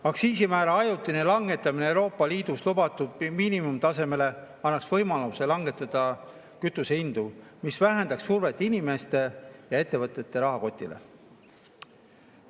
Aktsiisimäära ajutine langetamine Euroopa Liidus lubatud miinimumtasemele annaks võimaluse langetada kütusehindu, mis vähendaks survet inimeste ja ettevõtete rahakotile.